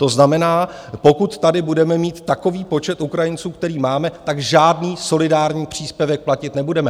To znamená, pokud tady budeme mít takový počet Ukrajinců, který máme, tak žádný solidární příspěvek platit nebudeme.